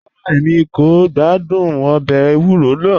Rárá, Èmi kò gbàdún òbè èwúrọ̀ náà